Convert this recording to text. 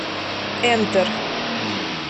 энтер